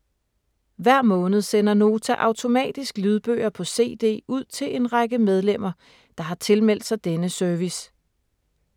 Hver måned sender Nota automatisk lydbøger på cd ud til en række medlemmer, der har tilmeldt sig denne service.